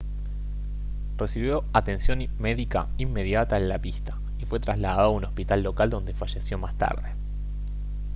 recibió atención médica inmediata en la pista y fue trasladado a un hospital local donde falleció más tarde